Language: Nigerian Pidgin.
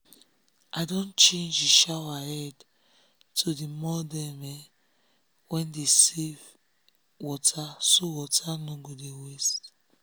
i don change the shower head to the model wey um dey help save water so water no go dey waste.